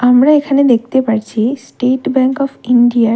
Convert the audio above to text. আমরা এখানে দেখতে পাচ্ছি স্টেট ব্যাঙ্ক অফ ইন্ডিয়া -র --